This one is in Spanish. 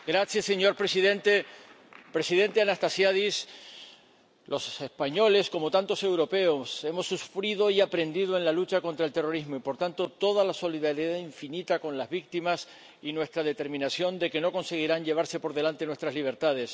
Señor presidente, presidente Anastasiades, los españoles, como tantos europeos, hemos sufrido y aprendido en la lucha contra el terrorismo y, por tanto, toda nuestra solidaridad infinita con las víctimas y nuestra determinación de que los terroristas no conseguirán llevarse por delante nuestras libertades.